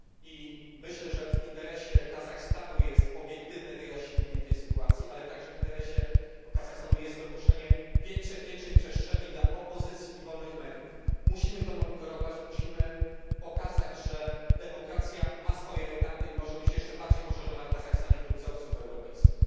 I myślę, że w interesie Kazachstanu jest obiektywne wyjaśnienie tej sytuacji, ale także w interesie Kazachstanu jest dopuszczenie większej przestrzeni dla opozycji i wolnych mediów. Musimy to monitorować, musimy pokazać, że demokracja ma swoje etapy i może być jeszcze bardziej poszerzona w Kazachstanie według wzorców europejskich.